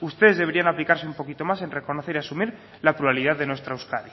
ustedes deberían aplicarse un poquito más en reconocer y asumir la pluralidad de nuestra euskadi